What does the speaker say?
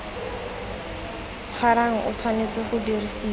tshwarang o tshwanetse go dirisiwa